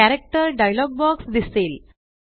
character dialogue box दिसेल